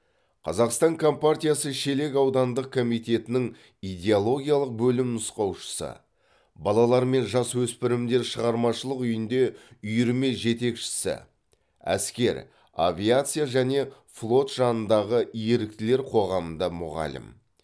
қазақстан компартиясы шелек аудандық комитетінің идеологиялық бөлім нұсқаушысы балалар мен жасөспірімдер шығармашылық үйінде үйірме жетекшісі әскер авиация және флот жанындағы еріктілер қоғамында мұғалім